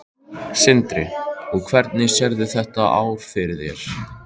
Sindri: Og hvernig sérðu þetta ár fyrir þér?